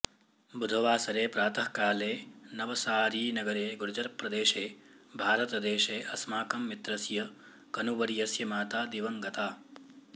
बुधवासरे प्रातःकाले नवसारीनगरे गुर्जरप्रदेशे भारतदेशे अस्माकं मित्रस्य कनुवर्यस्य माता दिवं गता